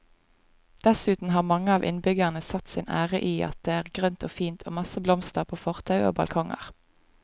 Dessuten har mange av innbyggerne satt sin ære i at det er grønt og fint og masse blomster på fortau og balkonger.